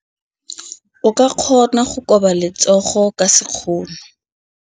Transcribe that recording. O ka kgona go koba letsogo ka sekgono.